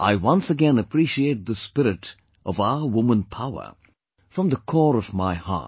I once again appreciate this spirit of our woman power, from the core of my heart